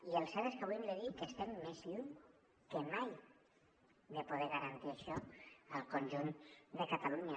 i el cert és que avui hem de dir que estem més lluny que mai de poder garantir això al conjunt de catalunya